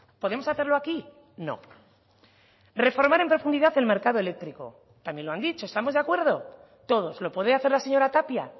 podemos hacerlo aquí no reformar en profundidad el mercado eléctrico también lo han dicho estamos de acuerdo todos lo podía hacer la señora tapia